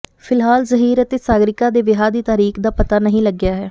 ਫਿਲਹਾਲ ਜਹੀਰ ਅਤੇ ਸਾਗਰਿਕਾ ਦੇ ਵਿਆਹ ਦੀ ਤਾਰੀਕ ਦਾ ਪਤਾ ਨਹੀਂ ਲੱਗਿਆ ਹੈ